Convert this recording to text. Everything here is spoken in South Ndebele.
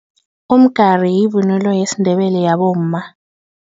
Umgari yivunulo yesiNdebele yabomma.